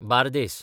Bardez